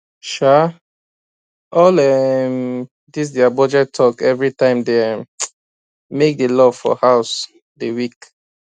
[sha] all um these their budget talk every time dey um make the love for house dey weak